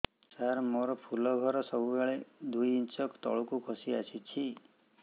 ସାର ମୋର ଫୁଲ ଘର ସବୁ ବେଳେ ଦୁଇ ଇଞ୍ଚ ତଳକୁ ଖସି ଆସିଛି